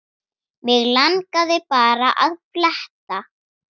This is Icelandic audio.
Mig langaði bara að fletta